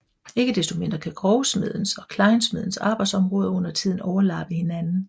Ikke desto mindre kan grovsmedens og klejnsmedens arbejdsområder undertiden overlappe hinanden